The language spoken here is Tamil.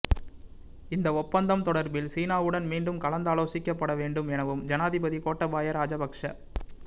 இந்த ஒப்பந்தம் தொடர்பில் சீனாவுடன் மீண்டும் கலந்தாலோசிக்கப்பட வேண்டும் எனவும் ஜனாதிபதி கோட்டாபய ராஜபக்ஷ